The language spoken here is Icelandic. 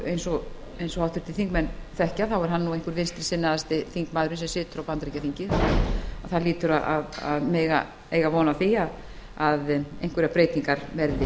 eins og háttvirtir þingmenn þekkja er hann einn vinstri sinnaðasti þingmaðurinn sem situr á bandaríkjaþingi svo menn hljóta að eiga von á því að einhverjar breytingar verði